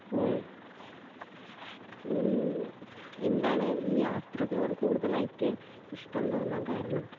ആ ഉം എന്താണ് ഈ യാത്രകളോട് കൂടുതലായിട്ട് ഇഷ്ട്ടം തോന്നാൻ കാരണം